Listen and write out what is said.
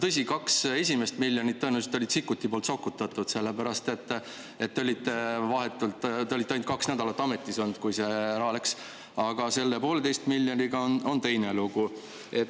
Tõsi, kaks esimest miljonit tõenäoliselt olid Sikkuti poolt sokutatud, sellepärast et te olite ainult kaks nädalat ametis olnud, kui see raha läks, aga selle poolteise miljoniga on teine lugu.